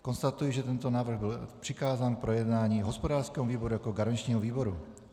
Konstatuji, že tento návrh byl přikázán k projednání hospodářskému výboru jako garančnímu výboru.